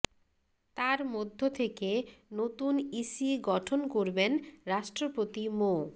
তার মধ্য থেকে নতুন ইসি গঠন করবেন রাষ্ট্রপতি মো